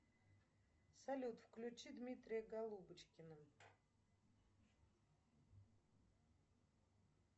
салют включи дмитрия голубочкина